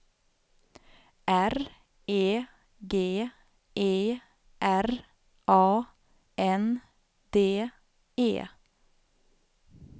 R E G E R A N D E